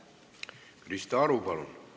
Krista Aru, palun!